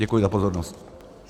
Děkuji za pozornost.